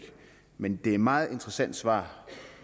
men det er et meget interessant svar